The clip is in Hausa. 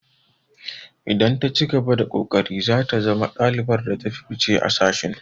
Idan ta cigaba da ƙoƙari zata zama ɗalibar da ta fi fice a sashin.